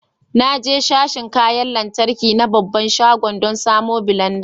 Na je sashin kayan lantarki na babban shagon dan samon blenda.